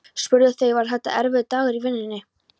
spurðu þau: Var þetta erfiður dagur í vinnunni?